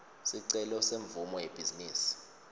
sicelo semvumo yebhizinisi